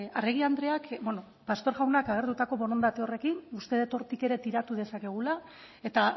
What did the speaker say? arregi andreak beno pastor jaunak agertutako borondate horrekin uste dut hortik ere tiratu dezakegula eta